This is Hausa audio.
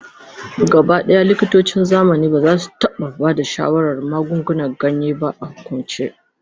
Gabaɗaya, likitocin zamani ba za su taɓa ba da shawarar magungunan ganya ba a hukumance.